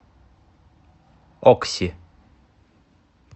окси